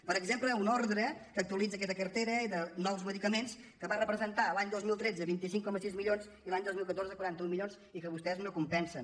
per exemple una ordre que actualitza aquesta cartera de nous medicaments que va representar l’any dos mil tretze vint cinc coma sis milions i l’any dos mil catorze quaranta un milions i que vostès no compensen